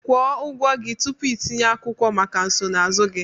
Kwụọ ụgwọ gị tupu itinye akwụkwọ maka nsonaazụ gị